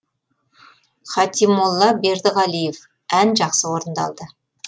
хатимолла бердіғалиев ән жақсы орындалды